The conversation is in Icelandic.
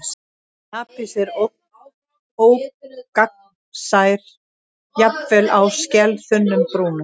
Jaspis er ógagnsær, jafnvel á skelþunnum brúnum.